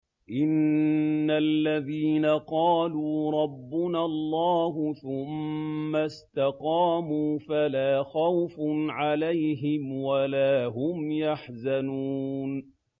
إِنَّ الَّذِينَ قَالُوا رَبُّنَا اللَّهُ ثُمَّ اسْتَقَامُوا فَلَا خَوْفٌ عَلَيْهِمْ وَلَا هُمْ يَحْزَنُونَ